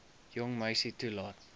jong meisie toelaat